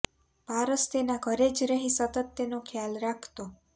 પારસ તેના ઘરે જ રહી સતત તેનો ખ્યાલ રાખતો